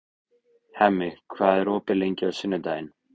Hemmi, hvað er opið lengi á sunnudaginn?